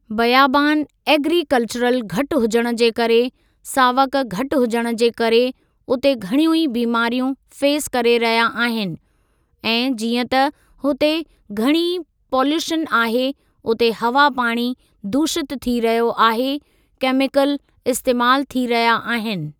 बयाबान agricultural घटि हुजणु जे करे, सावक घटि हुजणु जे करे उते घणियूं ई बीमारियूं फ़ेस करे रहिया आहिनि ऐ जीअं त हुते घणी ई पॉल्यूशन आहे उते हवा पाणी दूषितु थी रहियो आहे केमिकल इस्तेमालु थी रहिया आहिनि।